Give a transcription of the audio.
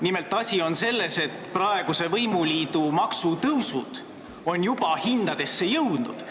Nimelt, asi on selles, et praeguse võimuliidu maksutõusud on juba hindadesse jõudnud.